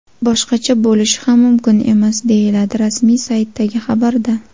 Boshqacha bo‘lishi ham mumkin emas, deyiladi rasmiy saytdagi xabarda.